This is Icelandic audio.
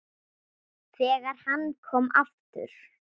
ÞEGAR HANN KOM AFTUR